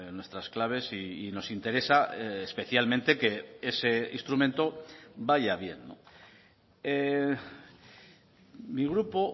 nuestras claves y nos interesa especialmente que ese instrumento vaya bien mi grupo